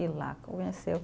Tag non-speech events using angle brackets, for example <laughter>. E lá. <unintelligible>